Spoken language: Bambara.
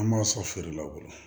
An m'a sɔn feere la o bolo